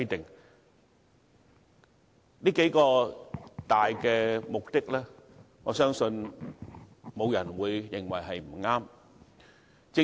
對於這數個大目的，我相信沒有人會認為不對。